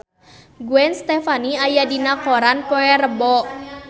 Gwen Stefani aya dina koran poe Rebo